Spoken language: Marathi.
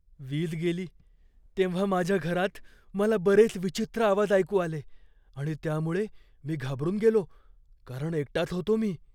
वीज गेली तेव्हा माझ्या घरात मला बरेच विचित्र आवाज ऐकू आले आणि त्यामुळे मी घाबरून गेलो कारण एकटाच होतो मी.